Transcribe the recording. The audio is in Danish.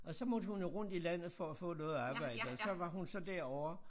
Og så måtte hun jo rundt i landet for at få noget arbejde og så var hun så derovre